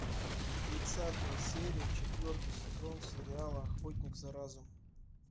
тридцатая серия четвертый сезон сериала охотник за разумом